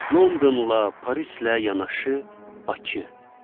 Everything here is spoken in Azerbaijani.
Londonla Parisə yanaşı Bakı.